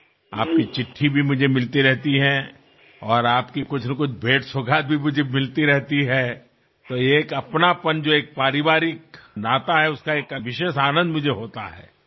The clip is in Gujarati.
આપનો પત્ર પણ મને મળતો રહે છે અને આપની કંઈ ને કંઈ ભેટસોગાદ પણ મને મળતી રહે છે તો આ આત્મીયતા જે એક પારિવારિક સંબંધ છે તેનો એક વિશેષ આનંદ મને થાય છે